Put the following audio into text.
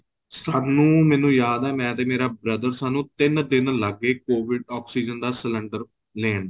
ਸਾਨੂੰ ਮੈਨੂੰ ਯਾਦ ਏ ਮੈਂ ਤੇ ਮੇਰਾ brother ਸਾਨੂੰ ਤਿੰਨ ਦਿਨ ਲੱਗ ਗਏ COVID oxygen ਦਾ cylinder ਲੈਣ